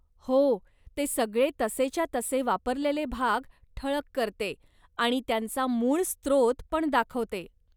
हो, ते सगळे तसेच्या तसे वापरलेले भाग ठळक करते आणि त्यांचा मूळ स्त्रोत पण दाखवते.